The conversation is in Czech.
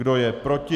Kdo je proti?